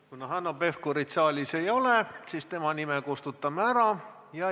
Kuna Hanno Pevkurit saalis ei ole, siis tema nime kustutame ära.